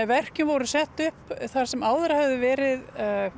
verkin voru sett upp þar sem áður höfðu verið